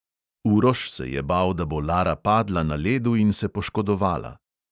Uroš se je bal, da bo lara padla na ledu in se poškodovala.